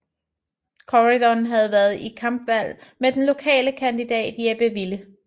Corydon havde været i kampvalg med den lokale kandidat Jeppe Wille